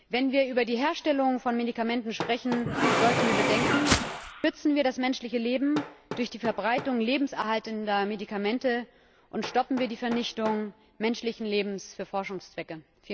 Wenn wir über die Herstellung von Medikamenten sprechen, sollten wir bedenken Schützen wir das menschliche Leben durch die Verbreitung lebenserhaltender Medikamente, und stoppen wir die Vernichtung menschlichen Lebens für Forschungszwecke!